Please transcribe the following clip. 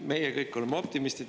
Meie kõik oleme optimistid.